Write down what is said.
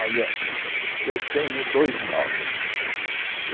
Olha, uhn eu tenho dois nomes.